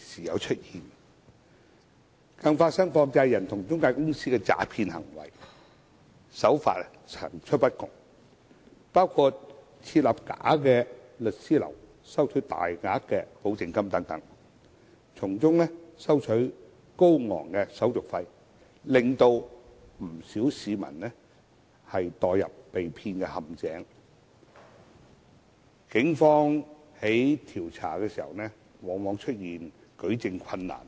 時有出現，更發生涉及放債人與財務中介公司的詐騙行為，手法層出不窮，包括設立假律師樓收取大額保證金等，從中收取高昂手續費，令不少市民墮入被騙陷阱，但警方在調查時往往遇到舉證困難。